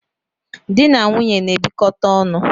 Dị na nwunye na-ebikote onu